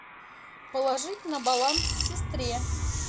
положить на баланс сестре